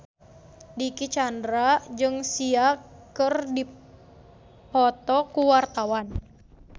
Dicky Chandra jeung Sia keur dipoto ku wartawan